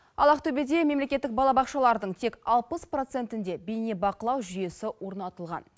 ал ақтөбеде мемлекеттік балабақшалардың тек алпыс процентінде бейнебақылау жүйесі орнатылған